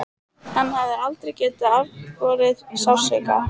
Hann hafði aldrei getað afborið sársauka.